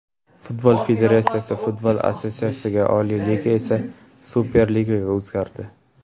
Futbol federatsiyasi, futbol assotsiatsiyasiga, Oliy Liga esa Superligaga o‘zgardi.